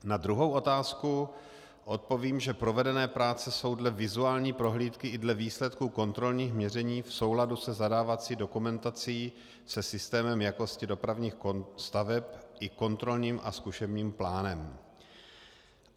Na druhou otázku odpovím, že provedené práce jsou dle vizuální prohlídky i dle výsledku kontrolních měření v souladu se zadávací dokumentací se systémem jakosti dopravních staveb, i kontrolním a zkušebním plánem.